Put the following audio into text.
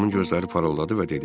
Tomun gözləri parıldadı və dedi: